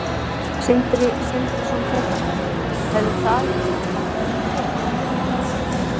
Sindri Sindrason, fréttamaður: Hefði það ekki sett bankann í þrot?